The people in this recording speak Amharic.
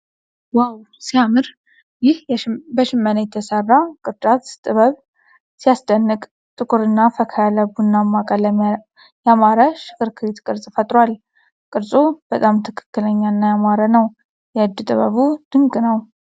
ዋው ሲያምር! ይህ በሽመና የተሰራ ቅርጫት ጥበብ ሲያስደንቅ! ጥቁርና ፈካ ያለ ቡናማ ቀለም ያማረ ሽክርክሪት ቅርጽ ፈጥሯል። ቅርጹ በጣም ትክክለኛና ያማረ ነው። የእጅ ጥበቡ ድንቅ ነው!!።